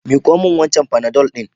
Miko min wancan panadol din.